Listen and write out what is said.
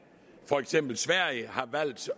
for eksempel sverige har valgt